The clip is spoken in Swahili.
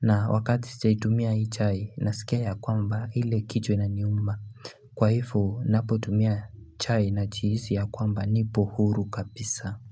Na, wakati sijaitumia hii chai. Nasikia ya kwamba ile kichwa na inaniuma. Kwa hivyo, napo tumia chai na jihisi ya kwamba nipo huru kabisa.